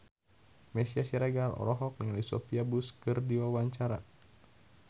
Meisya Siregar olohok ningali Sophia Bush keur diwawancara